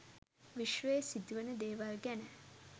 විශ්වයේ සිදුවන දේවල් ගැන